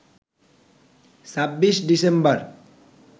২৬ December